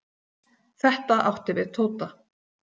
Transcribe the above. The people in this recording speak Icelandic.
Þetta átti við Tóta.